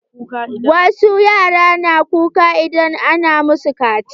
Wasu yaran na kuka idan ana masu kaciya.